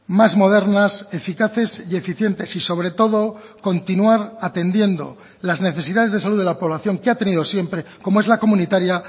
más modernas eficaces y eficientes y sobre todo continuar atendiendo las necesidades de salud de la población que ha tenido siempre como es la comunitaria